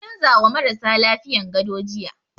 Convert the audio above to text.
An canza wa marasa lafiyan gado jiya